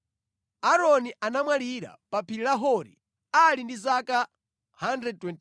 Aaroni anamwalira pa phiri la Hori ali ndi zaka 123.